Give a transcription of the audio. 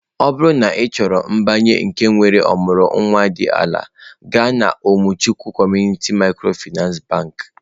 Ọ bụrụ na ị chọrọ mbinye nke nwere ọmụrụ nwa dị ala, gaa na umuchukwu Community micro Finance bakị.